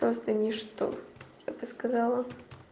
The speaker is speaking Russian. просто ни что я бы сказала